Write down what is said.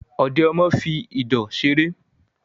Ọ̀dẹ̀ ọmọ fi ìdọ̀ ṣeré